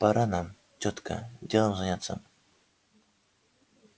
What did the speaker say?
пора нам тётка делом заняться